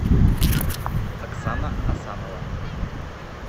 оксана асанова